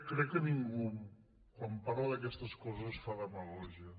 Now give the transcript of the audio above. crec que ningú quan parla d’aquestes coses fa demagògia